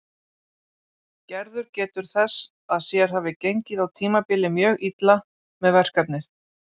Gerður getur þess að sér hafi gengið á tímabili mjög illa með verkefnið.